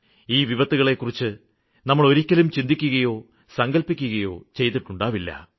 ഈ വിപത്തുകളെക്കുറിച്ച് നമ്മള് ഒരിക്കലും ചിന്തിക്കുകയോ സങ്കല്പിക്കുകയോ ചെയ്തിട്ടുണ്ടാവില്ല